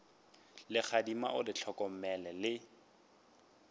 legadima o le hlokomele le